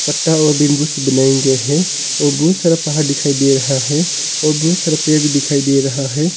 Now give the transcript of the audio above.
पत्ता और बैम्बू से बनायाँ गया है और बहुत सारा पहाड़ दिखाई दे रहा है और बहुत सारा पेड़ भी दिखाई दे रहा है।